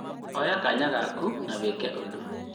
Oya kanya gaku na wĩke ũndũ.